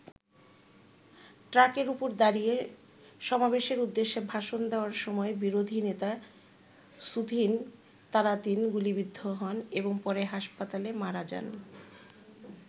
ট্রাকের ওপর দাঁড়িয়ে সমাবেশের উদ্দেশ্যে ভাষণ দেওয়ার সময় বিরোধী নেতা সুথিন তারাতিন গুলিবিদ্ধ হন এবং পরে হাসপাতালে মারা যান।